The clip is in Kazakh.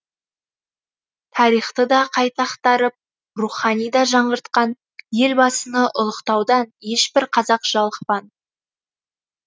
тарихты да қайта ақтарып рухани да жаңғыртқан елбасыны ұлықтаудан ешбір қазақ жалықпан